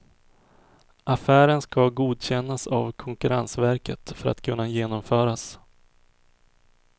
Affären ska godkännas av konkurrensverket för att kunna genomföras.